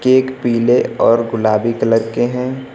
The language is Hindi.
एक पीले और गुलाबी कलर के हैं।